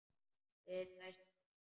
Við dæstum.